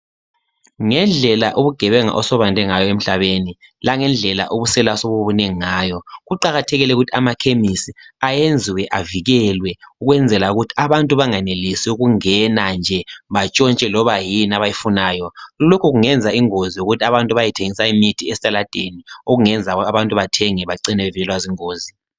Ngendlela ubugebenga osobande ngayo emhlabeni langendlela ubusela osobubunengi ngayo kuqakathekile ukuthi amakhemisi ayenziwe avikelwe ukwenzela ukuthi abantu bangenelisi ukungena nje batshontshe loba yini abayifunayo. Lokhu kungenza ingozi yokuthi abantu bayethengisa imithi ezitaladeni okungenza abantu bathenge bacine bevelelwa zingozi.